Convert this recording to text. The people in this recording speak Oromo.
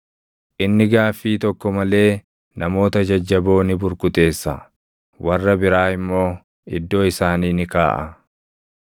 Inni gaaffii tokko malee namoota jajjaboo ni burkuteessa; warra biraa immoo iddoo isaanii ni kaaʼa.